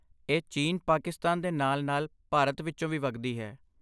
ਇਹ ਚੀਨ, ਪਾਕਿਸਤਾਨ ਦੇ ਨਾਲ ਨਾਲ ਭਾਰਤ ਵਿੱਚੋਂ ਵੀ ਵਗਦੀ ਹੈ